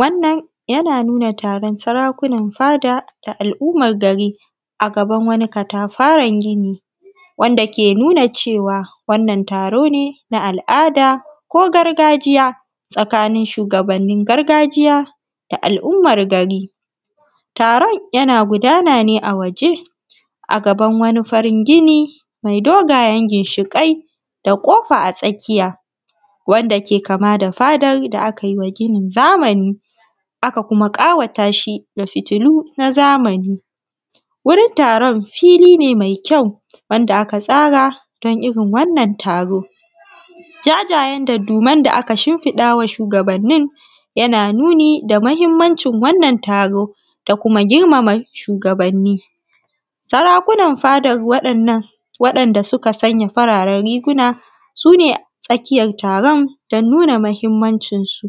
Wannan yana nuna taron sarakunan fada da al'ummar gari, a gaban wani katafaren gini. Wanda ke nuna cewa wannan taro ne na al'ada, ko gargajiya, tsakanin shugabannin gargajiya da al'ummar gari. Taron yana gudana ne a waje, a gaban wani farin gini mai dogayen ginshiƙai, da ƙofa a tsakiya. Wanda ke kama da fadar da aka yi ma ginin zamani. Aka kuma ƙawata shi da fitilu na zamani. Wurin taron fili ne mai kyau wanda aka tsara don irin wannan taro.. Jajayen dadduman da aka shinfiɗawa shugabannin, yana nuni da mahimmancin wannan taro, da kuma girmama shugabanni. Sarakunan fadan wa’yannan waɗanda suka sanya fararen riguna, su ne tsakiyan taron don nuna mahimmancin su.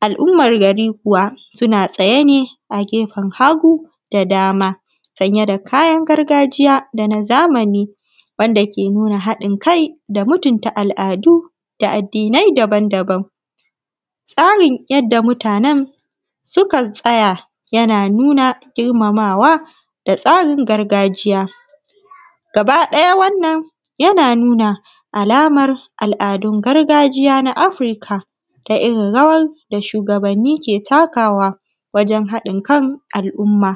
Al'ummar gari kuwa suna tsaye ne a gefen hagu da dama, sanye da kayan gargajiya da na zamani wanda ke nuna haɗin kai da mutunta al'adu da addinai daban-daban. Tsarin yadda mutanen suka tsaya yana nuna girmamawa da tsarin gargajiya. Gaba ɗaya wannan yana nuna alamar al'adun gargajiya na afirika, da irin rawar da shugabanni ke takawa, wajen haɗin kan al'umma.